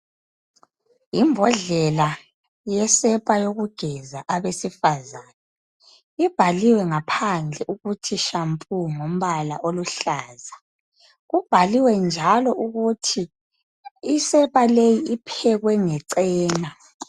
Imbodlela yesepa yokugeza abesifazane, ibhaliwe ngaphandle ukuthi shampoo ngombala oluhlaza. Kubhaliwe njalo ukuthi isepa leyi iphekwe ngecena.